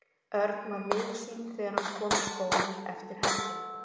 Örn var miður sín þegar hann kom í skólann eftir helgina.